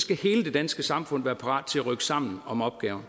skal hele det danske samfund være parat til at rykke sammen om opgaven